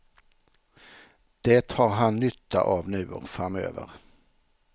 Det har han nytta av nu och framöver.